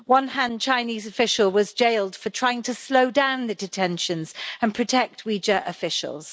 One Han Chinese official was jailed for trying to slow down the detentions and protect Uyghur officials.